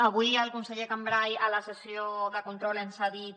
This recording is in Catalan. avui el conseller cambray a la sessió de control ens ha dit